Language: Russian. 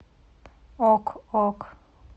ок ок